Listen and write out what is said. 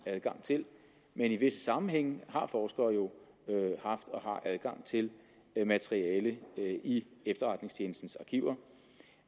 adgang til men i visse sammenhænge har forskere jo haft og har adgang til materiale i efterretningstjenestens arkiver